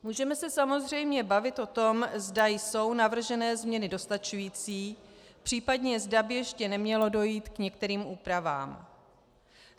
Můžeme se samozřejmě bavit o tom, zda jsou navržené změny dostačující, případně zda by ještě nemělo dojít k některým úpravám.